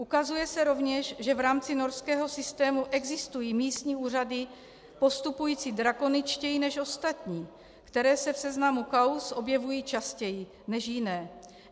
Ukazuje se rovněž, že v rámci Norského systému existují místní úřady postupující drakoničtěji než ostatní, které se v seznamu kauz objevují častěji než jiné.